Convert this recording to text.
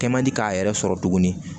Kɛ man di k'a yɛrɛ sɔrɔ tuguni